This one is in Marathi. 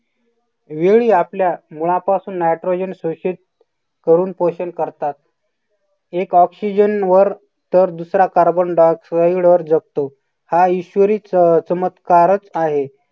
वेळी आपल्या मुळापासून nitrogen शोषित करून पोषण करतात. एक oxygen वर तर दुसरा carbon di-oxide वर जगतो हा ईश्वरी अह चमत्कारचं आहे.